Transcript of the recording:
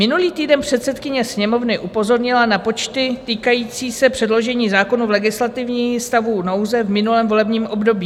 Minulý týden předsedkyně Sněmovny upozornila na počty týkající se předložení zákonů v legislativním stavu nouze v minulém volebním období.